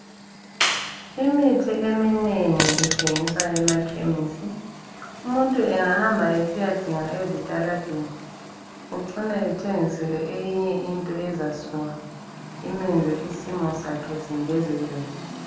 Imithi eminengi ithengiswa emakhemisi. Umuntu engahamba esiyadinga ezitaladeni, ucina ethengiselwe eyinye into ezasuka imenze isimo sakhe singezeleke.